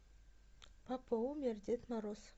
папа умер дед мороз